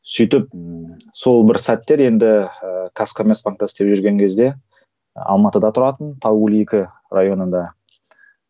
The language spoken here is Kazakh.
сөйтіп сол бір сәттер енді ііі казкомерцбанкта істеп жүрген кезде алматыда тұратынмын тау он екі районында